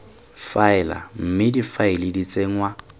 faela mme difaele di tsenngwa